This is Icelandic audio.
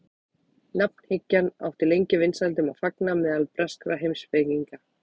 Nafnhyggjan átti lengi vinsældum að fagna meðal breskra heimspekinga.